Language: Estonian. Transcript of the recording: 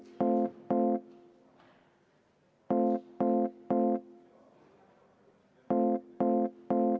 Lugupeetud kolleegid!